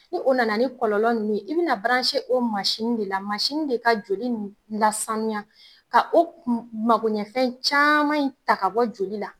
Ni o nana ni kɔlɔlɔ ninnu ye, i bɛna o mansin de la, mansin de ka joli lasaniya ka o makoɲɛfɛn caman in ta ka bɔ joli la